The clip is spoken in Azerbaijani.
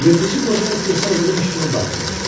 Yırtıcı qocaya istehza edirmiş kimi baxdı.